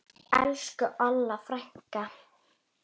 Elsku Olla frænka.